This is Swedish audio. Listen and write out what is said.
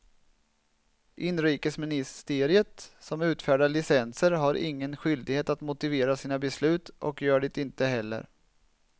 Inrikesministeriet som utfärdar licenser har ingen skyldighet att motivera sina beslut och gör det inte heller.